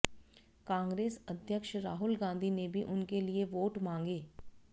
कांग्रेस अध्यक्ष राहुल गांधी ने भी उनके लिए वोट मांगे